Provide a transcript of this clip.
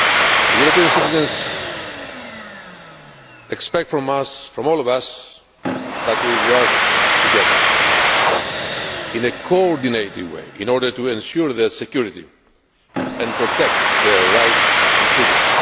The European citizens expect from all of us that we work together, in a coordinated way, in order to ensure their security and protect their rights and freedom.